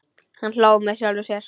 Hann hló með sjálfum sér.